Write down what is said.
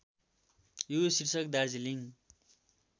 यो शीर्षक दार्जीलिङ